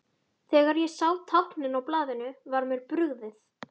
Þegar ég sá táknin á blaðinu var mér brugðið.